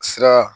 Sira